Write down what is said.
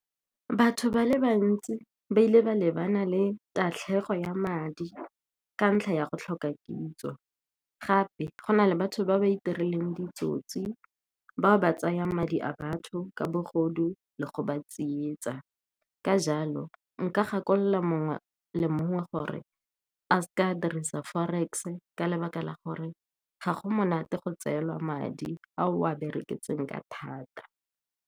Batho ba le bantsi ba ile ba lebana le tatlhego ya madi ka ntlha ya go tlhoka kitso. Gape go na le batho ba ba itireleng ditsotsi ba o ba tsayang madi a batho ka bogodu le go ba tsietsa. Ka jalo, nka gakolola mongwe le mongwe gore a seke a dirisa forex, ka lebaka la gore ga go monate go tseelwa madi a o a bereketseng ka thata.